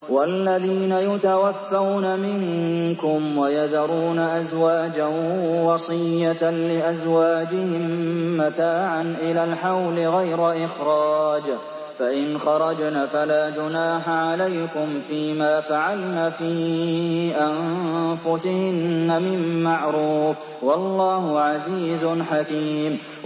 وَالَّذِينَ يُتَوَفَّوْنَ مِنكُمْ وَيَذَرُونَ أَزْوَاجًا وَصِيَّةً لِّأَزْوَاجِهِم مَّتَاعًا إِلَى الْحَوْلِ غَيْرَ إِخْرَاجٍ ۚ فَإِنْ خَرَجْنَ فَلَا جُنَاحَ عَلَيْكُمْ فِي مَا فَعَلْنَ فِي أَنفُسِهِنَّ مِن مَّعْرُوفٍ ۗ وَاللَّهُ عَزِيزٌ حَكِيمٌ